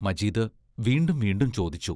മജീദ് വീണ്ടും വീണ്ടും ചോദിച്ചു.